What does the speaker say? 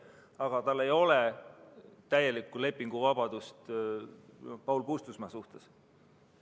Küll aga ei ole tal täielikku lepinguvabadust Paul Puustusmaa suhtes.